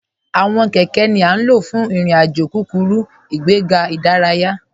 Awọn kẹkẹ̀ ni a ló fún irin-àjò kúkúrú, ìgbẹ̀gà idáràyà.